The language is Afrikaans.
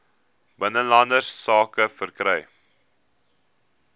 binnelandse sake verkry